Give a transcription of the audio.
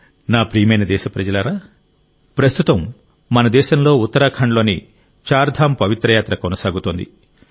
నా ప్రియమైన దేశప్రజలారా ప్రస్తుతం మన దేశంలో ఉత్తరాఖండ్లోని చార్ధామ్ పవిత్ర యాత్ర కొనసాగుతోంది